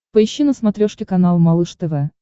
поищи на смотрешке канал малыш тв